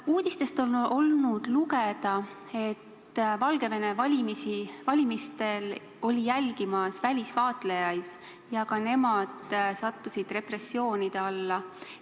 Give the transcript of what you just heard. Uudistest on olnud lugeda, et Valgevene valimisi oli jälgimas ka välisvaatlejaid ja nemadki sattusid repressioonide alla.